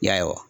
Ya